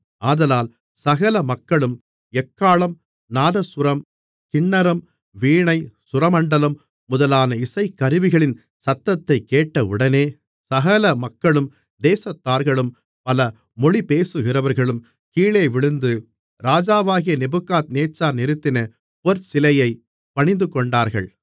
ஆதலால் சகல மக்களும் எக்காளம் நாதசுரம் கின்னரம் வீணை சுரமண்டலம் முதலான இசைக்கருவிகளின் சத்தத்தைக் கேட்டவுடனே சகல மக்களும் தேசத்தார்களும் பல மொழி பேசுகிறவர்களும் கீழேவிழுந்து ராஜாவாகிய நேபுகாத்நேச்சார் நிறுத்தின பொற்சிலையைப் பணிந்துகொண்டார்கள்